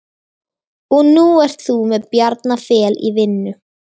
Og nú ert þú með Bjarna Fel í vinnu?